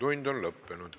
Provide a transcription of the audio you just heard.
Infotund on lõppenud.